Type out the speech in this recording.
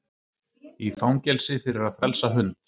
Í fangelsi fyrir að frelsa hund